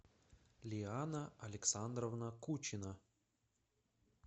лиана александровна кучина